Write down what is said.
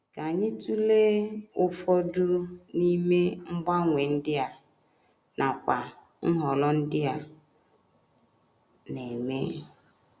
Ka anyị tụlee ụfọdụ n’ime mgbanwe ndị a, nakwa nhọrọ ndị a na - eme.